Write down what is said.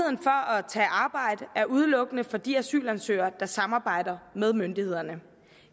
at tage arbejde er udelukkende for de asylansøgere der samarbejder med myndighederne